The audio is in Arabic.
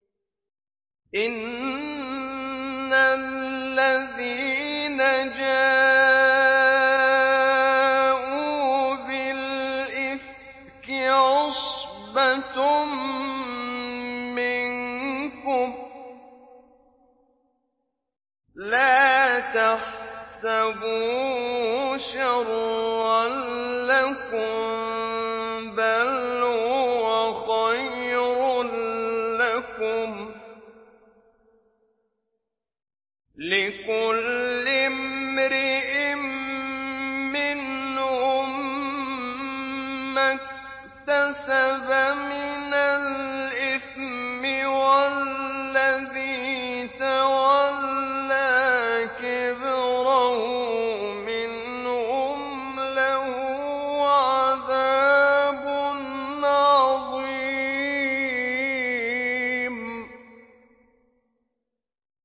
إِنَّ الَّذِينَ جَاءُوا بِالْإِفْكِ عُصْبَةٌ مِّنكُمْ ۚ لَا تَحْسَبُوهُ شَرًّا لَّكُم ۖ بَلْ هُوَ خَيْرٌ لَّكُمْ ۚ لِكُلِّ امْرِئٍ مِّنْهُم مَّا اكْتَسَبَ مِنَ الْإِثْمِ ۚ وَالَّذِي تَوَلَّىٰ كِبْرَهُ مِنْهُمْ لَهُ عَذَابٌ عَظِيمٌ